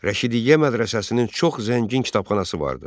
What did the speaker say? Rəşidiyyə mədrəsəsinin çox zəngin kitabxanası vardı.